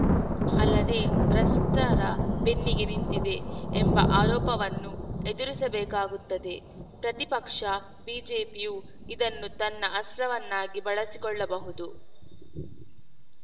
ಅಲ್ಲದೇ ಭ್ರಷ್ಟರ ಬೆನ್ನಿಗೆ ನಿಂತಿದೆ ಎಂಬ ಆರೋಪವನ್ನು ಎದುರಿಸಬೇಕಾಗುತ್ತದೆ ಪ್ರತಿಪಕ್ಷ ಬಿಜೆಪಿಯು ಇದನ್ನು ತನ್ನ ಅಸ್ತ್ರವನ್ನಾಗಿ ಬಳಸಿಕೊಳ್ಳಬಹುದು